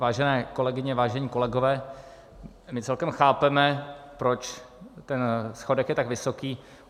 Vážené kolegyně, vážení kolegové, my celkem chápeme, proč ten schodek je tak vysoký.